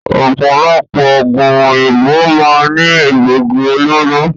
Ọ̀pọ̀lọpọ̀ oògùn òyìnbó máa ń ní Egbògi olóró